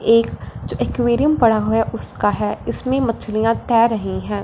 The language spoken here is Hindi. एक जो एक्वेरियम पड़ा हुआ है उसका है इसमें मछलियां तैर रही हैं।